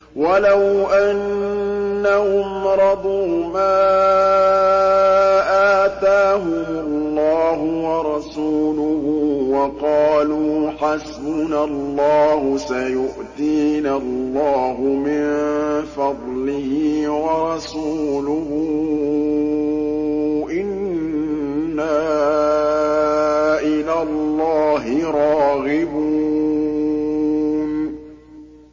وَلَوْ أَنَّهُمْ رَضُوا مَا آتَاهُمُ اللَّهُ وَرَسُولُهُ وَقَالُوا حَسْبُنَا اللَّهُ سَيُؤْتِينَا اللَّهُ مِن فَضْلِهِ وَرَسُولُهُ إِنَّا إِلَى اللَّهِ رَاغِبُونَ